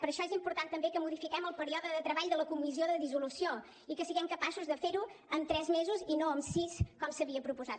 per això és important també que modifiquem el període de treball de la comissió de dissolució i que siguem capaços de fer ho en tres mesos i no en sis com s’havia proposat